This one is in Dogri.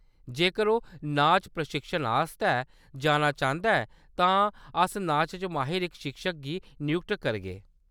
जेकर ओह्‌‌ नाच प्रशिक्षण आस्तै जाना चांह्‌‌‌दा ऐ तां अस नाच च माहिर इक शिक्षक गी नयुक्त करगे।